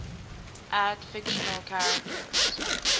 add fictional characters